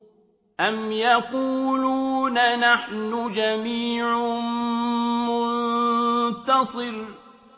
أَمْ يَقُولُونَ نَحْنُ جَمِيعٌ مُّنتَصِرٌ